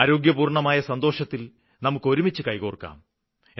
ആരോഗ്യപൂര്ണ്ണമായ സന്തോഷത്തില് നമുക്ക് ഒരുമിച്ച് കൈകോര്ക്കാം